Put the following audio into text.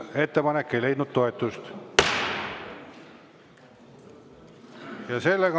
Ettepanek ei leidnud toetust.